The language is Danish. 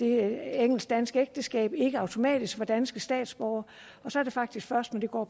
et engelsk dansk ægteskab ikke automatisk var danske statsborgere og så er det faktisk først når de går